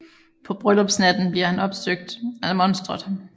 På bryllupsnatten bliver han opsøgt af monsteret